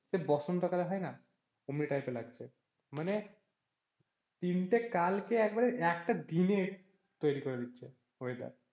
সেই বসন্তকালে হয়না অমনি type এর লাগছে, মানে তিনটে কালকে একবারে একটা দিনে তৈরি করে দিচ্ছে weather,